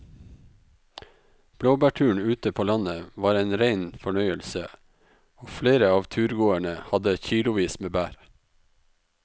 Blåbærturen ute på landet var en rein fornøyelse og flere av turgåerene hadde kilosvis med bær.